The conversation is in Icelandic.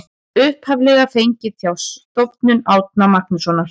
Upphaflega fengið hjá Stofnun Árna Magnússonar.